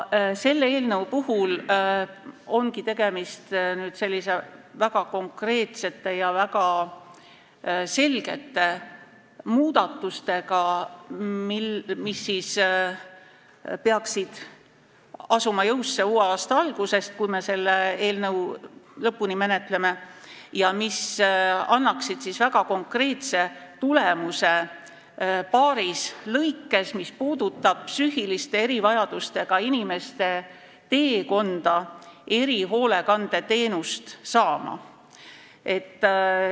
Selles eelnõus on väga konkreetsed ja väga selged muudatused, mis peaksid astuma jõusse uue aasta algusest, kui me selle eelnõu lõpuni menetleme, ja mis annaksid paaris plaanis väga konkreetse tulemuse, mis puudutab psüühiliste erivajadustega inimeste teekonda erihoolekandeteenuse saamisel.